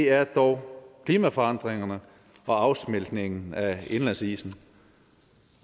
er dog klimaforandringerne og afsmeltningen af indlandsisen